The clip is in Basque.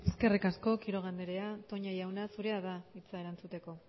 eskerrik asko quiroga andrea toña jauna zurea da hitza erantzuteko